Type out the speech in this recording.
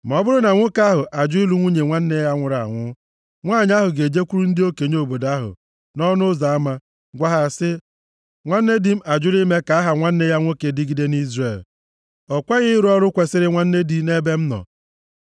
Ma ọ bụrụ na nwoke ahụ ajụ ịlụ nwunye nwanne ya nwụrụ anwụ, nwanyị ahụ ga-ejekwuru ndị okenye obodo ahụ nʼọnụ ụzọ ama, gwa ha sị, “Nwanne di m ajụla ime ka aha nwanne ya nwoke dịgide nʼIzrel. O kweghị ịrụ ọrụ kwesiri nwanne di nʼebe m nọ.”